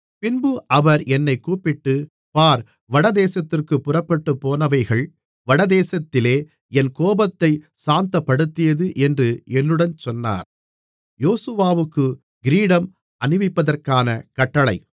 பின்பு அவர் என்னைக் கூப்பிட்டு பார் வடதேசத்திற்குப் புறப்பட்டுப்போனவைகள் வடதேசத்திலே என் கோபத்தைச் சாந்தப்படுத்தியது என்று என்னுடன் சொன்னார்